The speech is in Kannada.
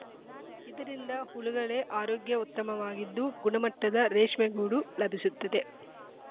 ಇದರಿಂದ ಹುಳುಗಳೆ ಆರೋಗ್ಯ ಉತ್ತಮವಾಗಿದ್ದು ಗುಣಮಟ್ಟದ ರೇಷ್ಮೆಗೂಡು ಲಭಿಸುತ್ತದೆ